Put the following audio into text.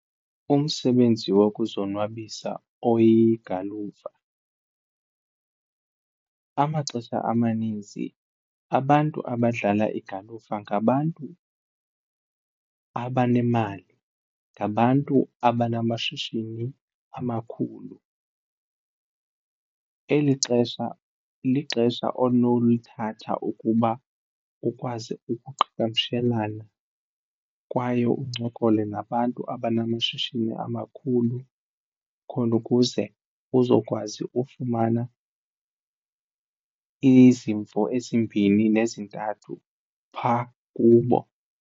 Umsebenzi wokuzonwabisa oyigalufa amaxesha amaninzi abantu abadlala igalufa ngabantu abanemali, ngabantu abanamashishini amakhulu. Eli xesha lixesha onolithatha ukuba ukwazi ukuqhagamshelana kwaye uncokole nabantu abanamashishini amakhulu khona ukuze uzokwazi ufumana izimvo ezimbini nezintathu phaa kubo.